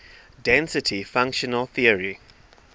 density functional theory